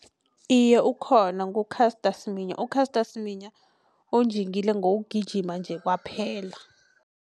Iye ukhona ngu-Caster Semenya u-Caster Semenya unjingile ngokugijima nje kwaphela.